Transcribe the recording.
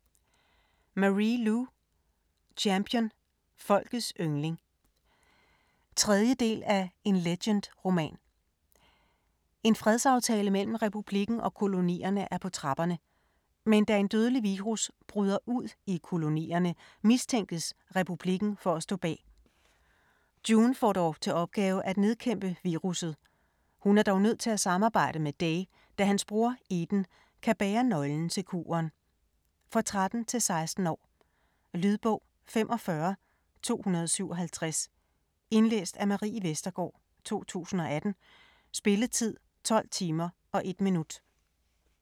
Lu, Marie: Champion - folkets yndling 3. del af En Legend-roman. En fredsaftale mellem Republikken og Kolonierne er på trapperne. Men da en dødelig virus bryder ud i Kolonierne, mistænkes Republikken for at stå bag. June får til opgave at nedkæmpe virusset. Hun er dog nødt til at samarbejde med Day, da hans bror Eden kan bære nøglen til kuren. For 13-16 år. Lydbog 45257 Indlæst af Marie Vestergård, 2018. Spilletid: 12 timer, 1 minut.